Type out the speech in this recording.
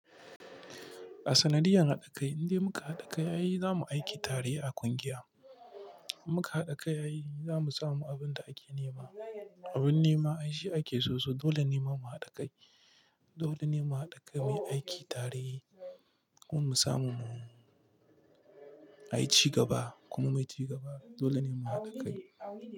A sanadiyan haɗakai, indai muka haɗa kai ayi zamu aiki tare a ƙungiya. Muka haɗa kai ayi zamu samu abinda ake nema. Abin nema shi ake so so, dole ne mu haɗa kai. Dole ne mu haɗa kai muyi aiki tare kuma mu samu mu a ci gaba kuma mu wuce gaba. Dole ne mu haɗa kai.